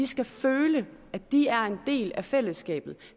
skal føle at de er en del af fællesskabet